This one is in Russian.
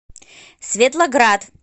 светлоград